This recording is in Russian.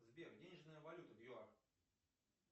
сбер денежная валюта в юар